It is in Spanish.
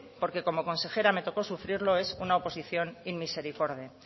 porque como consejera me tocó sufrirlo es una oposición inmisericorde